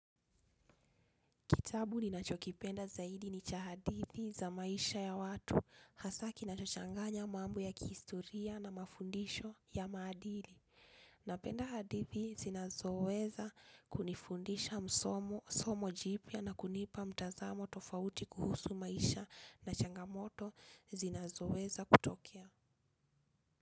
Kitabu ninachokipenda zaidi ni cha hadithi za maisha ya watu hasa kina chochanganya mambo ya kiistoria na mafundisho ya madili. Napenda hadithi zinazoweza kunifundisha msomo jipia na kunipa mtazamo tofauti kuhusu maisha na changamoto zinazoweza kutokea.